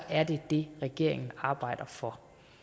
er det det regeringen arbejder for